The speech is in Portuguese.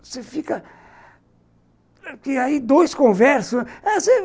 Você fica... Aí dois conversam.